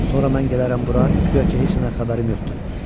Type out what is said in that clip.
Sonra mən gələrəm bura, guya ki, heç nədən xəbərim yoxdur.